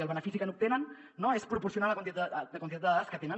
el benefici que n’obtenen no és proporcionar la quantitat de dades que tenen